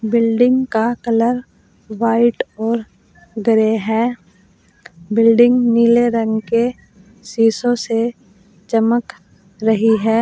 Building का colour white और grey है बिल्डिंग नीले रंग के शीशों से चमक रही है।